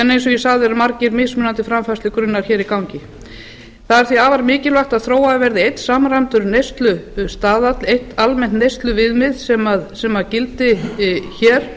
en eins og ég sagði eru margir mismunandi framfærslugrunnar hér í gangi það er því afar mikilvægt að þróaður verði einn samræmdur neyslustaðall eitt almennt neysluviðmið sem gildi hér